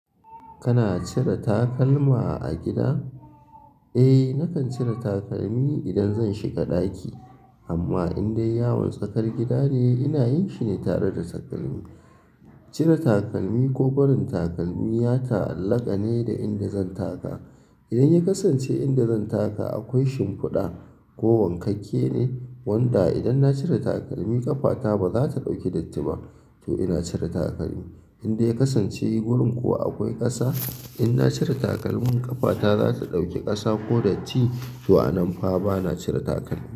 Kana cire takalma a gida? Eh nakan cire takalmi idan zan shiga ɗaki. Amma indai yawon tsakar gida ne ina yin shi ne tare da takalmi. Cire takalmi ko barin takalmi ya ta'allaka ne da inda zan taka. Idan ya kasance inda zan taka akwai shimfuɗa ko wankake ne, wanda idan na cire takalmi ƙafata ba za ta ɗauki datti ba to ina cire takalmi. Indai ya kasance wurin kuwa akwai ƙasa, inna cire takalmin ƙafata za ta ɗauki ƙasa ko datti to a nan fa ba na cire takalmi.